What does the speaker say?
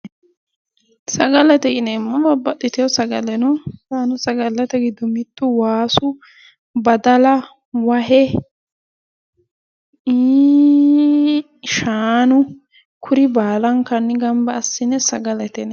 Sagalete yineemmo. babaxitino sagale no. yaano sagallate giddo mittu wasu badala wahe iiiiii shaanu kuri baalankanni gamba assine sagalete yineemmo.